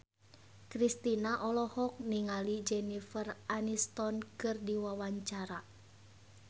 Kristina olohok ningali Jennifer Aniston keur diwawancara